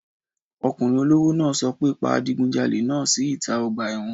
Ọkùnrin olówó náà sọ pé pa adigunjalè náà sí ìta ọgbà ẹ̀wọ̀n!